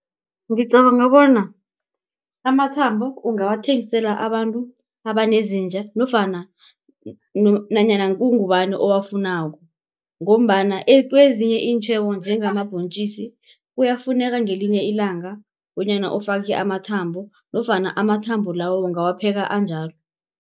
Ngicabanga bona amathambo ungawathengisela abantu abanezinja nofana nanyana kungubani owafunako ngombana kwezinye iintjhebo njengamabhontjisi kuyafuneka ngelinye ilanga bonyana ufake amathambo nofana amathambo lawo ungawapheka anjalo.